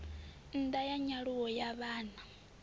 ṋda ya nyaluwo ya vhana